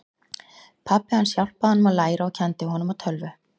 Pabbi hans hjálpaði honum að læra og kenndi honum á tölvu.